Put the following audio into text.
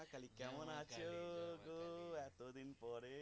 কেমন আছো গো এতদিন পরে?